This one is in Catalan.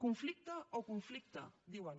conflicte o conflicte diuen